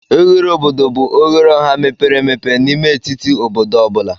Oghere obodo bụ oghere ọha mepere emepe n'ime etiti obodo ọ bụla.